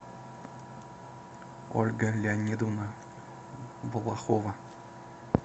ольга леонидовна балахова